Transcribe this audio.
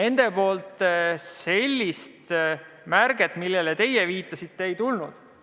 Neilt sellist märkust, millele teie viitasite, ei tulnud.